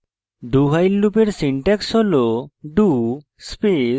dowhile লুপের syntax হল